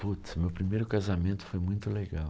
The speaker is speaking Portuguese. Putz, meu primeiro casamento foi muito legal.